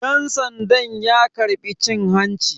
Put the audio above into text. Dan sandan ya karbi cin hanci.